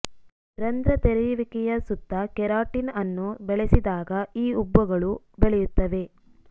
ರಂಧ್ರ ತೆರೆಯುವಿಕೆಯ ಸುತ್ತ ಕೆರಾಟಿನ್ ಅನ್ನು ಬೆಳೆಸಿದಾಗ ಈ ಉಬ್ಬುಗಳು ಬೆಳೆಯುತ್ತವೆ